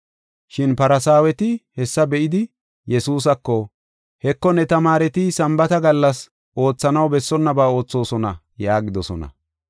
Shin Farsaaweti hessa be7idi Yesuusako, “Heko, ne tamaareti Sambaata gallas oothanaw bessonnaba oothosona” yaagidosona.